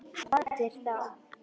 Hvaða raddir þá?